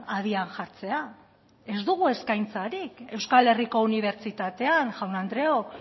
abian jartzea ez dugu eskaintzarik euskal herriko unibertsitatean jaun andreok